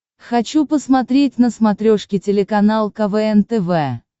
хочу посмотреть на смотрешке телеканал квн тв